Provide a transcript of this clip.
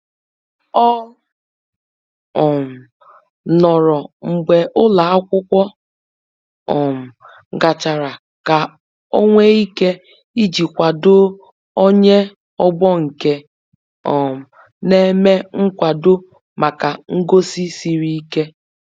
Ọ um nọrọ mgbe ụlọ akwụkwọ um gachara ka onwe ike iji kwado onye ọgbọ nke um na eme nkwado maka ngosi siri ike.